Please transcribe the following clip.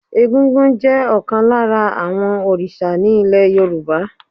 Egúngún jẹ́ ọ̀kan lára àwọn òrìṣà ní ilẹ̀ Yorùbá.